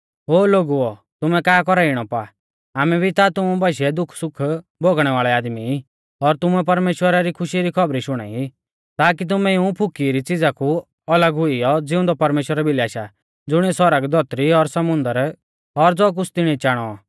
ओ लोगुओ तुमै का कौरा ई इणौ पा आमै भी ता तुमु बाशीऐ दुखसुख भोगणै वाल़ै आदमी ई और तुमुकै परमेश्‍वरा री खुशी री खौबरी शुणाई ताकी तुमै इऊं फुकौ री च़िज़ा कु अलग हुइयौ ज़िउंदै परमेश्‍वरा भिलै आशा ज़ुणिऐ सौरग धौतरी और समुन्दर और ज़ो कुछ़ तिणीऐ चाणौ